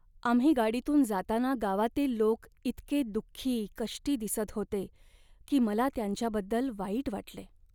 आम्ही गाडीतून जाताना गावातील लोक इतके दुःखी कष्टी दिसत होते की मला त्यांच्याबद्दल वाईट वाटले.